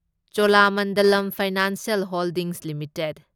Cholamandalam financial holdings limited